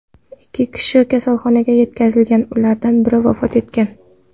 Ikki kishi kasalxonaga yetkazilgan, ulardan biri vafot etgan.